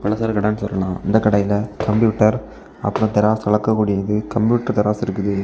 பலசரக்கடை சொல்லலாம் இந்த கடையில கம்ப்யூட்டர் அப்புறம் தராசு அளக்கக்கூடியது கம்ப்யூட்டர் தராசு இருக்குது.